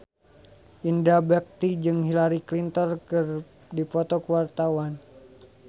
Indra Bekti jeung Hillary Clinton keur dipoto ku wartawan